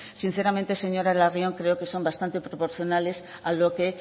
sinceramente señora larrion creo que son bastante proporcionales a lo que